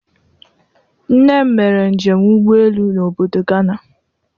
Nne m mere njem ụgbọelu obodo Gana.